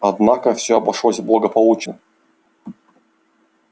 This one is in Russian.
однако все обошлось благополучно